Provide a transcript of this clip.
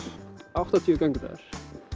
áttatíu